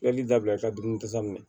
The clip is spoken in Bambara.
Yali dabila i ka dumuni ta minɛ